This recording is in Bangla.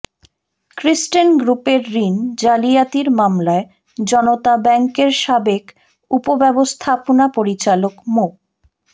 ক্রিসেন্ট গ্রুপের ঋণ জালিয়াতির মামলায় জনতা ব্যাংকের সাবেক উপব্যবস্থাপনা পরিচালক মো